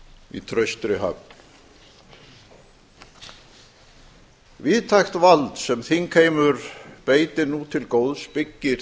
í traustri höfn víðtækt vald sem þingheimur beitir nú til góðs byggir